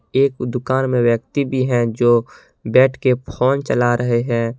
एक दुकान में व्यक्ति भी है जो बैठके फोन चला रहे हैं।